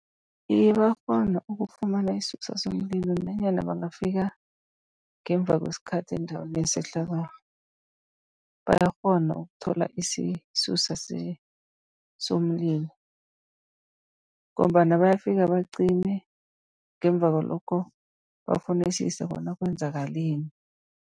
Iye, bayakghona ukufumana isisusa somlilo nanyana bangafika ngemva kwesikhathi endaweni yesehlakalo. Bayakghona ukuthola isisusa somlilo, ngombana bayafika bacime ngemva kwalokho bafunisise bona kwenzakaleni.